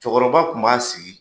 Cɛkɔrɔba kun b'a sigi